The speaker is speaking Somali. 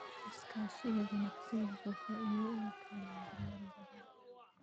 Iskaashiga ganacsigu wuxuu faa'iido u keenaa beeralay badan.